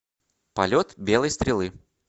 полет белой стрелы